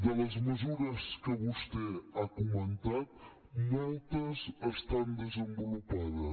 de les mesures que vostè ha comentat moltes estan desenvolupades